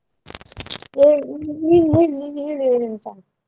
ನೀನ್ ಹೇಳು ನೀನ್ ಹೇಳು ಏನಂತ.